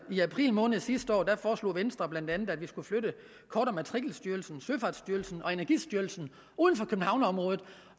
i april måned sidste år foreslog venstre bla at vi skulle flytte kort og matrikelstyrelsen søfartsstyrelsen og energistyrelsen uden for københavnsområdet